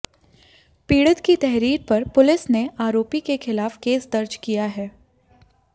पीड़ित की तहरीर पर पुलिस ने आरोपी के खिलाफ केस दर्ज किया है